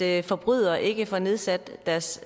at forbrydere ikke får nedsat deres